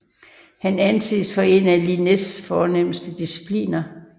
Han anses for en af Linnés fornemste discipler